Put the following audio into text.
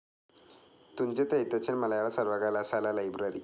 തുഞ്ചത്ത് എഴുത്തച്ഛൻ മലയാള സർവകലാശാല ലൈബ്രറി